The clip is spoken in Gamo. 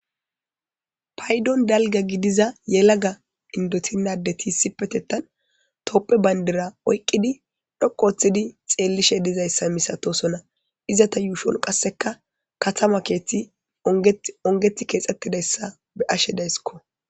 Paydon dalga gidiza Indoten adet issipetethan tophiya bandira oykid xelishe dosona. izeta miyen qaseka katama kethy onget kexetidaysa beyashe daysko.